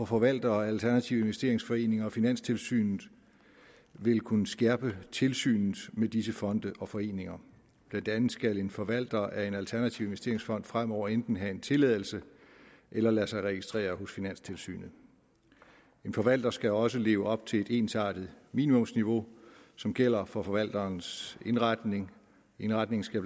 forvaltere af alternative investeringsforeninger og finanstilsynet vil kunne skærpe tilsynet med disse fonde og foreninger blandt andet skal en forvalter af en alternativ investeringsfond fremover enten have en tilladelse eller lade sig registrere hos finanstilsynet en forvalter skal også leve op til et ensartet minimumsniveau som gælder for forvalterens indretning indretningen skal